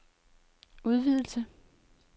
udvidelse